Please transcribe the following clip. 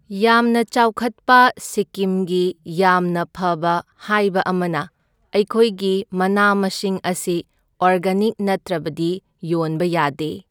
ꯌꯥꯝꯅ ꯆꯥꯎꯈꯠꯄ ꯁꯤꯀꯤꯝꯒꯤ ꯌꯥꯝꯅ ꯐꯕ ꯍꯥꯏꯕ ꯑꯃꯅ ꯑꯩꯈꯣꯏꯒꯤ ꯃꯅꯥ ꯃꯁꯤꯡ ꯑꯁꯤ ꯑꯣꯔꯒꯥꯅꯤꯛ ꯅꯠꯇ꯭ꯔꯕꯗꯤ ꯌꯣꯟꯕ ꯌꯥꯗꯦ꯫